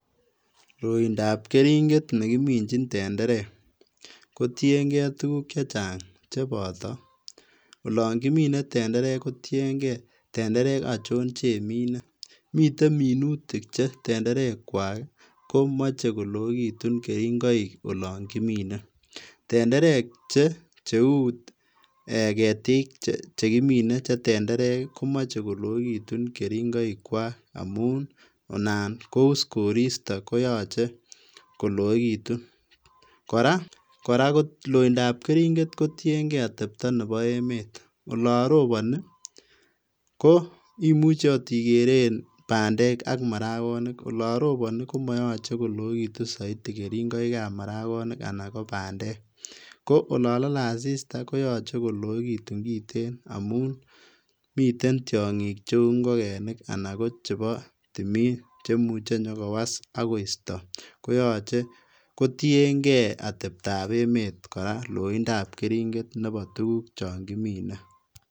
Loindab keringet nekiminjin tenderek kotiengee tuguk chechang cheboto olon kimine tenderek kotiengee tenerek ojon chemine, miten minutik che tenderekwak komoche koloekitun keringoik olon kimine, tenderek cheu ketik che tenderek chekimine komoche koloekitun keringoikwak amun inan kous koristo koyoche koloekitun, koraa loindab keringet kotiengee otepto nebo emet olon roboni ko imuche ot ikeree bandeek ak marakonik olon roboni komoyoche koloekitun soiti keringoikab marakonik anan kobandeek, ko olon lole asista koyoche koloekitun kiten amun miten tiongik cheu inkogenik anan kochebo timin chemuje nyokowas ak koisto koyoche kotiengee ateptaa emet koraa loindab keringet nebo tuguk chon kimine.